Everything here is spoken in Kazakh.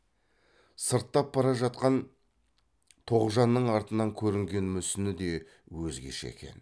сырттап бара жатқан тоғжанның артынан көрінген мүсіні де өзгеше екен